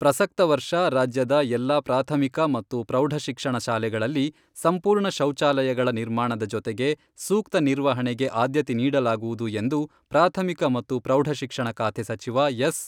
ಪ್ರಸಕ್ತ ವರ್ಷ ರಾಜ್ಯದ ಎಲ್ಲ ಪ್ರಾಥಮಿಕ ಮತ್ತು ಪ್ರೌಢಶಿಕ್ಷಣ ಶಾಲೆಗಳಲ್ಲಿ ಸಂಪೂರ್ಣ ಶೌಚಾಲಯಗಳ ನಿರ್ಮಾಣದ ಜೊತೆಗೆ ಸೂಕ್ತ ನಿರ್ವಹಣೆಗೆ ಆದ್ಯತೆ ನೀಡಲಾಗುವುದು ಎಂದು ಪ್ರಾಥಮಿಕ ಮತ್ತು ಪ್ರೌಢಶಿಕ್ಷಣ ಖಾತೆ ಸಚಿವ ಎಸ್.